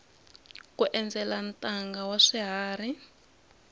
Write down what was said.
ku endzela ntanga wa swiharhi